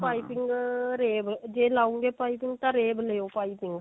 ਪਾਈਪਿੰਨ ah rave ਜੇ ਲਉਗੇ ਪਾਈਪਿੰਨ ਤਾਂ rave ਲਿਓ ਪਾਈਪਿੰਨ